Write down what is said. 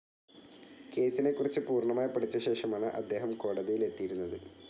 കേസിനെക്കുറിച്ച് പൂർണ്ണമായി പഠിച്ച ശേഷമാണ് അദ്ദേഹം കോടതിയിൽ എത്തിയിരുന്നത്.